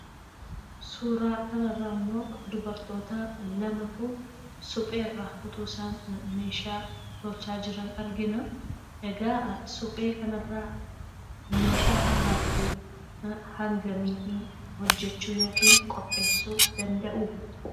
Suuraa kana irraa immoo dubartoota lamatu suphee irraa osoo meeshaa tolchaa jiranii argina. Egaa suphee kana irraa meeshaa akaakuu hangamii qopheessuu yookiin hojjechuu danda'uu?